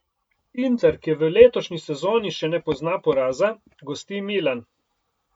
Inter, ki v letošnji sezoni še ne pozna poraza, gosti Milan.